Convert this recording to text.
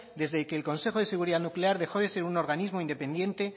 desde que el consejo de seguridad nuclear dejó de ser un organismo independiente